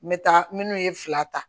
N bɛ taa minnu ye fila ta